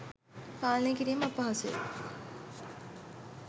පාලනය කිරීම අපහසු ය.